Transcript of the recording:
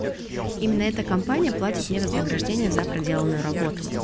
именно эта компания платит мне вознаграждения за проделанную работу